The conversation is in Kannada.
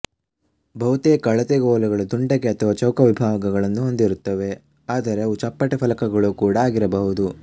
ಬಹುತೇಕ ಅಳತೆಗೋಲುಗಳು ದುಂಡಗೆ ಅಥವಾ ಚೌಕ ವಿಭಾಗಗಳನ್ನು ಹೊಂದಿರುತ್ತವೆ ಆದರೆ ಅವು ಚಪ್ಪಟೆ ಫಲಕಗಳು ಕೂಡ ಆಗಿರಬಹುದು